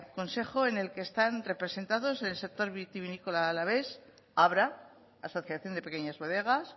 consejo en el que están representados el sector vitivinícola alavés abra asociación de pequeñas bodegas